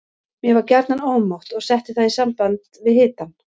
Mér var gjarnan ómótt og setti það í samband við hitann.